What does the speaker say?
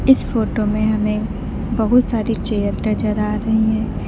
इस फोटो में हमें बहुत सारी चेयर नजर आ रही हैं।